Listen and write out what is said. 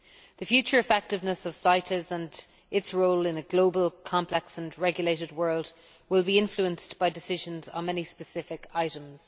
The future effectiveness of CITES and its role in a global, complex and regulated world will be influenced by decisions on many specific items.